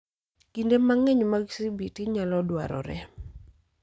Kinde mang'eny mag CBT nyalo dwarore